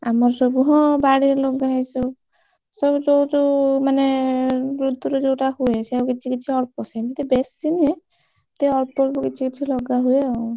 ଆମର ସବୁ ହଁ ବାଡିରେ ଲଗା ହେଇଛି, ସବୁ ସବୁ ଯୋଉ ଯୋଉ ମାନେ ଋତୁରେ ଯୋଉଟା ହୁଏ, ସେଇଆକୁ କିଛି କିଛି ଅଳ୍ପ ସେମିତି ବେଶୀ ନୁହେଁ, ଏମିତି ଅଳ୍ପ ଅଳ୍ପ କିଛି କାଛି ଲଗା ହୁଏ ଆଉ।